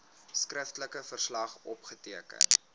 skriftelike verslag opgeteken